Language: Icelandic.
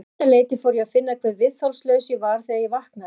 Um þetta leyti fór ég að finna hve viðþolslaus ég var þegar ég vaknaði.